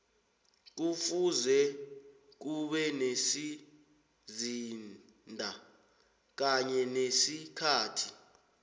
kufuze ube nesizinda kanye nesikhathi